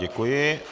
Děkuji.